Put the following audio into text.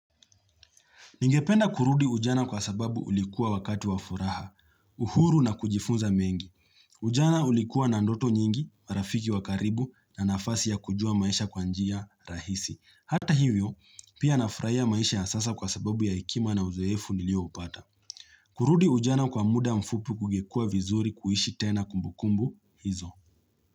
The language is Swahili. Ningependa kurudi ujana kwa sababu ulikuwa wakati wa furaha, uhuru na kujifunza mengi. Ujana ulikuwa na ndoto nyingi, marafiki wa karibu na nafasi ya kujua maisha kwa njia rahisi. Hata hivyo, pia nafraia maisha ya sasa kwa sababu ya hekima na uzoefu nilio upata. Kurudi ujana kwa muda mfupi kugekua vizuri kuishi tena kumbukumbu hizo.